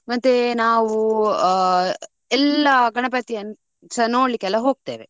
ಮತ್ತೆ ನಾವು ಎಲ್ಲಾ ಗಣಪತಿಯನ್ನು ಸ ನೋಡ್ಲಿಕ್ಕೆಲ್ಲಾ ಹೋಗ್ತೇವೆ.